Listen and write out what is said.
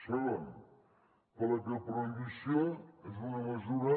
segon perquè la prohibició és una mesura